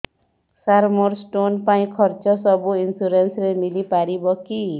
ସାର ମୋର ସ୍ଟୋନ ପାଇଁ ଖର୍ଚ୍ଚ ସବୁ ଇନ୍ସୁରେନ୍ସ ରେ ମିଳି ପାରିବ କି